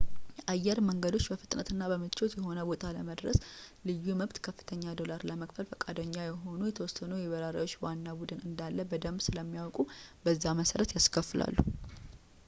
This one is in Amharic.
የአየር መንገዶች በፍጥነትና በምቾት የሆነ ቦታ ለመድረስ ልዩ መብት ከፍተኛ ዶላር ለመክፈል ፈቃደኛ የሆኑ የተወሰነ የበራሪዎች ዋና ቡድን እንዳለ በደምብ ስለሚያውቁ በዛ መሰረት ያስከፍላሉ